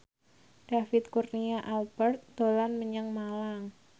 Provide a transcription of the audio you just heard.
David Kurnia Albert dolan menyang Malang